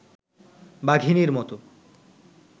বাঘিনীর মতো